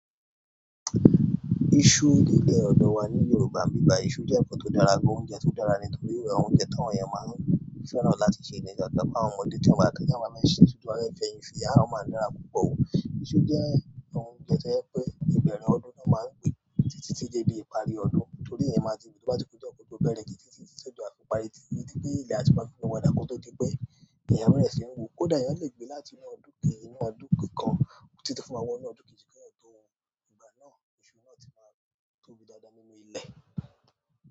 Iṣu ní ilẹ̀ ọ̀dọ̀ wa ni Yorùbá ní ibí báyìí iṣu jẹ́ ǹkan tó dára, gbó oúnjẹ tó dára nítorí ìwà oúnjẹ táwọn èèyàn máa ń fẹ́ràn láti ṣe ní ìṣàtápà àwọn ọmọdé tí wọ́n bá tẹ́ ẹ́ níwájú máa ṣe, ṣùgbọ́n wọ́n yóò fẹ́ yin fi ara, ó máa dára púpọ̀ o. Iṣu jẹ́ ǹkan tó yẹ pé ìbẹ̀rẹ̀ ọdún ni wọ́n máa ń pè é, títí tí jẹ di ìparí ọdún, torí èèyàn máa di ìgbà tí kò bá ti pè ọkọ tó bẹ̀rẹ̀ kì í títí tí òjò á fi ìparí ti, nítorí pé ilẹ̀ àti bákan ni wọ́n dáko tó di pé èèyàn bèrè sì ń wò ó dàá èèyàn lè gbé láti inú ọdún kì í inú ọdún kan títí fún wọ inú ọdún kì í kí ẹ̀yàn tó gbà náà, iṣu náà ti máa tóbi dáadáa nínú ilẹ̀.